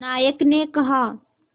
नायक ने कहा